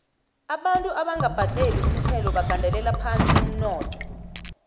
abantu abanga badeli umthelo bagandela phasi umnotho